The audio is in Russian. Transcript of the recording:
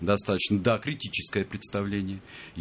достаточно да критическое представление и